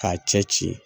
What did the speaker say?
K'a cɛ ci ci